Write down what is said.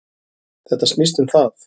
Þetta snýst um það.